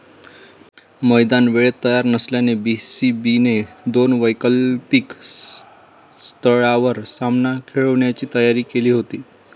मैदान वेळेत तयार नसल्यास बीसीबीने दोन वैकल्पिक स्थळांवर सामना खेळवण्याची तयारी केली होती.